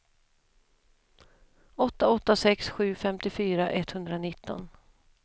åtta åtta sex sju femtiofyra etthundranitton